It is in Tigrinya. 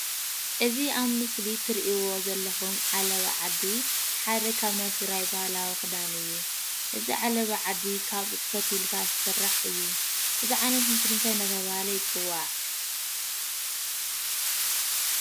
እዚ ኣብ ምስሊ እትርእይዎ ዘለኹም ዓለባ ዓዲ ሓደ ካብ ናይ ትግራይ ባህላዊ ክዳን እዩ። እዚ ዓለባ ዓዲ ካብ ጡጥ ፈቲልካ ዝስራሕ እዩ። እዚ ዓይነት ምስሊ እንታይ እንዳተብሃለ ይፅዋዕ?